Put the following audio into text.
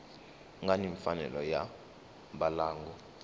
nga ni mfanelo ya mbalango